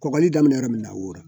Kɔkɔli daminɛ yɔrɔ min na o yɔrɔ